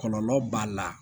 Kɔlɔlɔ b'a la